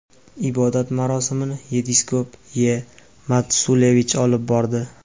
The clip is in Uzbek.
Ibodat marosimini yepiskop Ye.Matsulevich olib bordi.